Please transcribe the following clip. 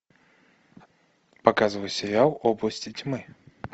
показывай сериал области тьмы